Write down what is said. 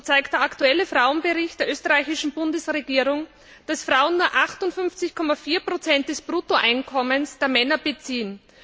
So zeigt der aktuelle Frauenbericht der österreichischen Bundesregierung, dass Frauen nur 58,4 des Bruttoeinkommens der Männer beziehen.